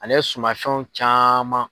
Ale sumanfɛnw caman.